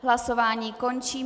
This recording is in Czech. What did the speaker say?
Hlasování končím.